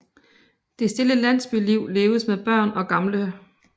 Det stille landsbyliv leves med børn og gamle